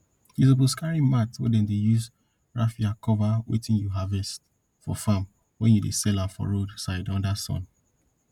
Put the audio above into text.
you suppose carry mat wey dem use rafia cover wetin you harvest for farm when you dey sell am for road side under sun